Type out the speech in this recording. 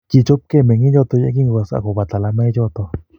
kichopkei meng'ichoto yekingokas akobo talamoichoto